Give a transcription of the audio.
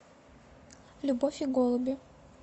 любовь и голуби